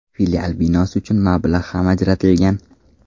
Filial binosi uchun mablag‘ ham ajratilgan.